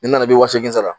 N nana i bɛ wa segin sara